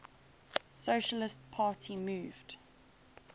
socialist party moved